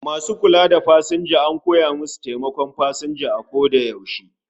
Masu kula da pasanja an koya musu su taimaki pasanja a koda yaushe